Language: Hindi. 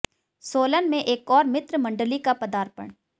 सोलन में एक और मित्र मंडली का पदार्पण